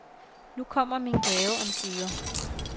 Nu kommer min gave omsider.